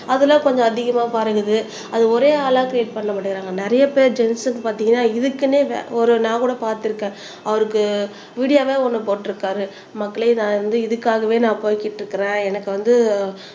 அதெல்லாம் கொஞ்சம் அதிகமா பகிரது அது ஒரே ஆளா கிரியேட் பண்ண மாட்டேங்கிறாங்க நிறைய பேர் ஜென்ட்ஸ்க்கு பாத்தீங்கன்னா இதுக்குன்னே ஒரு நான் கூட பார்த்திருக்கேன் அவருக்கு வீடியோவாவே ஒண்ணு போட்டிருக்காரு மக்களே நான் வந்து இதுக்காகவே நான் போய்கிட்டு இருக்கிறேன் எனக்கு வந்து